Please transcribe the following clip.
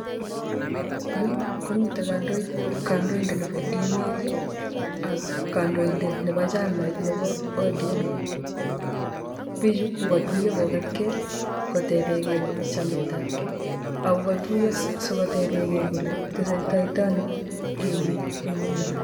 Yu komite kandoindet nebo emet ak kandoindet nebochamait nebo odm. Bichu kokatuiyo kokatkei kotebekei chametab kei akokatuiyo sikotebekei kole tesetaitoi ano emet eng nguno.